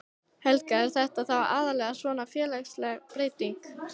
Helga: Er þetta þá aðallega svona félagsleg breyting?